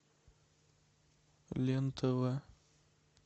лен тв